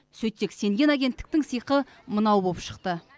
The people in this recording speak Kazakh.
сөйтсек сенген агенттіктің сыйқы мынау болып шықты